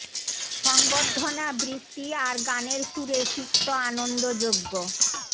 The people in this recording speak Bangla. স ং ব র্ধ না বৃষ্টি আর গানের সুরে সিক্ত আনন্দযজ্ঞ